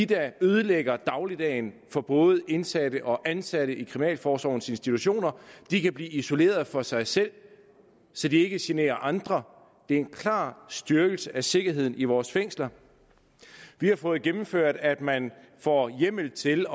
der ødelægger dagligdagen for både indsatte og ansatte i kriminalforsorgens institutioner de kan blive isoleret for sig selv så de ikke generer andre det er en klar styrkelse af sikkerheden i vores fængsler vi har fået gennemført at man får hjemmel til